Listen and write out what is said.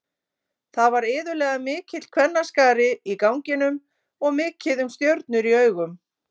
Það var iðulega mikill kvennaskari í ganginum og mikið um stjörnur í augum.